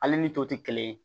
Ale ni to te kelen ye